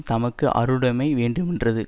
தமக்கு அருளுடைமை வேண்டுமென்றது